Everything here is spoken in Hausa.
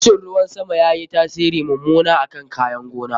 Rashin ruwan sama yayi tasiri mummuna akan kayan gona.